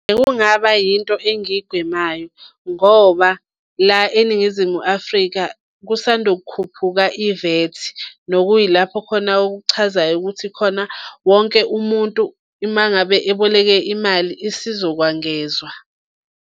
Kungaba yinto engiyigwemayo ngoba la eNingizimu Afrika kusanda ukukhuphuka i-VAT, nokuyilapho khona okuchazayo ukuthi khona wonke umuntu uma ngabe aboleke imali isizokwangezwa.